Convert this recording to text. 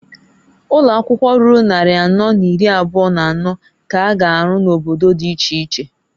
Ụnọakwụkwọ ruru nnarị anọ n'iri abụa n'anọọ k'a ga arụ n'obodo di iche iche.